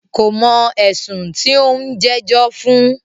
Kò mọ̀ ẹ̀sùn tí o ń jẹ́jọ́ fún.